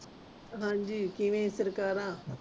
ਹਾਂਜੀ ਕਿਵੇਂ ਸਰਕਾਰ